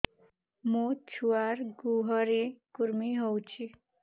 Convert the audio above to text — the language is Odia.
ମୋ ଛୁଆର୍ ଗୁହରେ କୁର୍ମି ହଉଚି